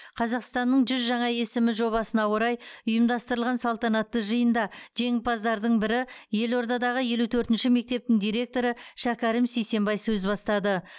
қазақстанның жүз жаңа есімі жобасына орай ұйымдастырылған салтанатты жиында жеңімпаздардың бірі елордадағы елу төртінші мектептің директоры шәкәрім сейсембай сөз бастады